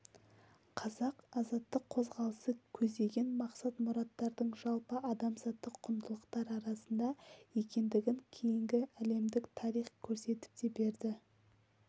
қазақ азаттық қозғалысы көздеген мақсат-мұраттардың жалпы адамзаттық құндылықтар арасында екендігін кейінгі әлемдік тарих көрсетіп те берді